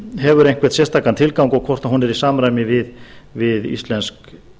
hefur einhvern sérstakan tilgang og hvort hún er í samræmi við íslensk